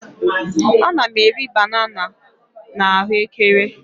Ana m eri banana m na ahuekere